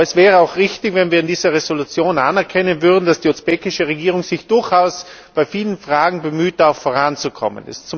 Aber es wäre auch richtig, wenn wir in dieser Entschließung anerkennen würden, dass sich die usbekische Regierung durchaus bei vielen Fragen bemüht voranzukommen.